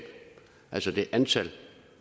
altså det antal